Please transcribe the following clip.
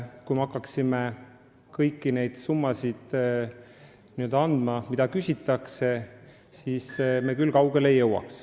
Kui me hakkaksime alati andma neid summasid, mida meilt küsitakse, siis me küll kaugele ei jõuaks.